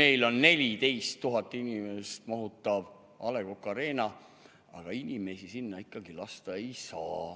meil on 14 000 inimest mahutav A. Le Coq Arena, aga inimesi sinna ikkagi lasta ei saa.